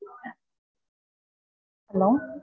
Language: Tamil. Hello